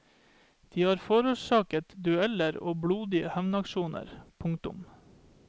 De har forårsaket dueller og blodige hevnaksjoner. punktum